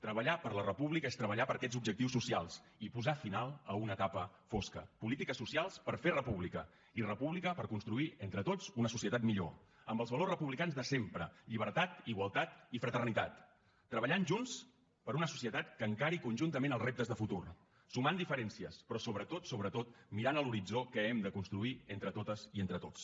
treballar per la república és treballar per aquests objectius socials i posar final a una etapa fosca polítiques socials per fer república i república per construir entre tots una societat millor amb els valors republicans de sempre llibertat igualtat i fraternitat treballant junts per una societat que encari conjuntament els reptes de futur sumant diferencies però sobretot sobretot mirant l’horitzó que hem de construir entre totes i entre tots